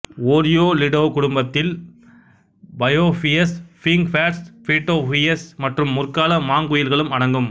Oriolidae குடும்பத்தில் பயோபியஸ் figbirds pitohuis மற்றும் முற்கால மாங்குயில்களும் அடங்கும்